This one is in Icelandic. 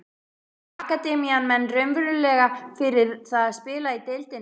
Býr akademían menn raunverulega fyrir það að spila í deildinni?